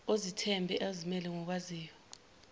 ozethembayo ozimele okwaziyo